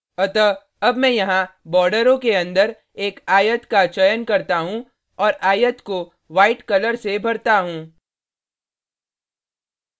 अतः अब मैं यहाँ borders के अन्दर एक आयत का चयन करता हूँ और आयत को white कलर से भरता हूँ